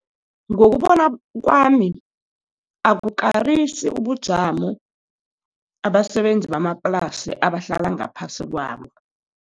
Ngokubona kwami, abukarisi ubujamo, abasebenzi bamaplasi abahlala ngaphasi kwabo.